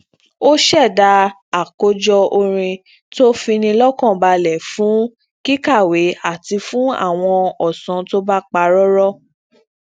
ó ṣẹda àkójọ orin tó ń fini lọkanbalẹ fún kíkàwé àti fún àwọn ọsan to pa rọrọ